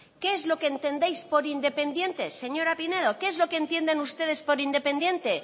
qué es lo que entendéis por independiente señora pinedo qué es lo que entienden ustedes por independiente